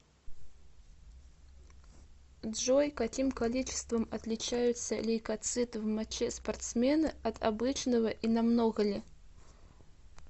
джой каким количеством отличаются лейкоциты в моче спортсмена от обычного и намного ли